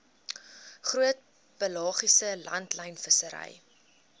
groot pelagiese langlynvissery